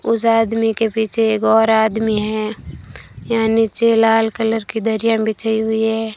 उस आदमी के पीछे एक और आदमी है यहां नीचे लाल कलर की दरिया बिछाई हुई है।